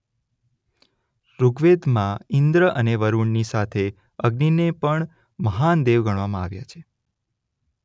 ઋગવેદમાં ઇન્દ્ર અને વરૂણની સાથે અગ્નિને પણ મહાન દેવ ગણવામાં આવ્યા છે.